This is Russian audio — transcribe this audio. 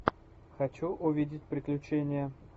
хочу увидеть приключения